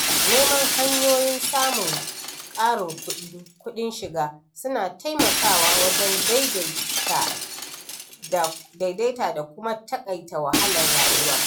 Neman hanyoyin samun ƙarin kudin shiga suna taimakawa wajen daidaita da kuma taƙaita wahalar rayuwa.